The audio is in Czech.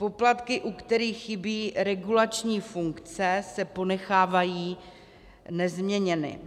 Poplatky, u kterých chybí regulační funkce, se ponechávají nezměněny.